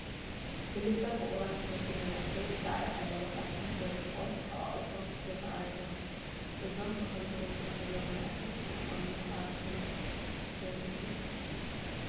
ክልተ ፍቑራት ዝመስሉ መናእሰይ ብፃዕዳ ዓለባ ዓዲ ደሚቖም ተሓቋቒፎም ይርአዩ ኣለዉ፡፡ እዞም ብኸምዚ ኩነታት ዘለዉ መናእሰይ መርዓውን መርዓትን ዶ ይመስሉ?